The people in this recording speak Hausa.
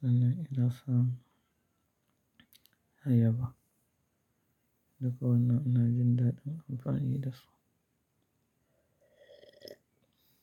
sannan ina son ayaba duk wannan ina jindaɗa amfani da su.